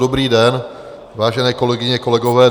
Dobrý den, Vážené kolegyně, kolegové.